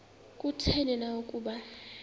kutheni na ukuba